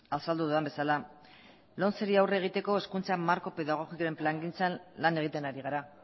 azaldu dudan bezala lomceri aurre egiteko hezkuntzako marko pedagogikoaren plangintzan lan egiten ari gara